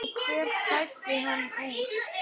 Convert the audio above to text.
Og hver klæddi hann úr?